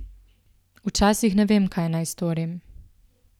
Včasih ne vem, kaj naj storim.